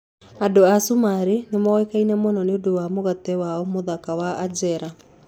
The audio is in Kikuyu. Andũ a Cumarĩ nĩ moĩkaine mũno nĩ ũndũ wa mũgate wao mũthaka wa anjera.